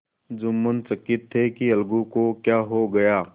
जुम्मन चकित थे कि अलगू को क्या हो गया